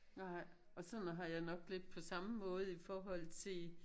Nej og sådan har jeg nok lidt på samme måde i forhold til